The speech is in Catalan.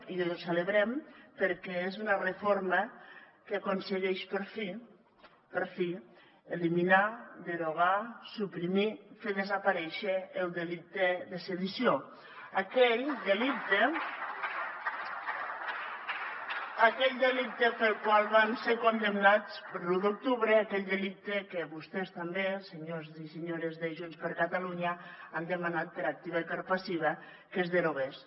i ho celebrem perquè és una reforma que aconsegueix per fi per fi eliminar derogar suprimir fer desaparèixer el delicte de sedició aquell delicte pel qual van ser condemnats per l’u d’octubre aquell delicte que vostès també els senyors i senyores de junts per catalunya han demanat per activa i per passiva que es derogués